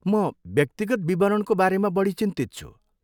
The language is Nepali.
म व्यक्तिगत विवरणको बारेमा बढी चिन्तित छु।